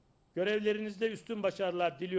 vəzifələrinizdə üstün uğurlar diləyirəm.